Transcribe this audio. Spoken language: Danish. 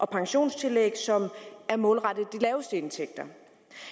pensionstillæg som er målrettet de laveste indtægter